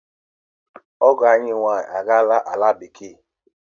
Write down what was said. Ọgọ ànyị nwaanyị a gaala ala bekee.